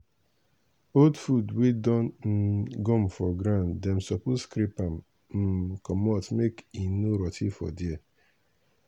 old food wey don um gum for ground dem suppose scrape am um commot make e no rot ten for there